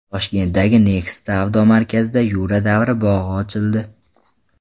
Toshkentdagi Next savdo markazida Yura davri bog‘i ochildi.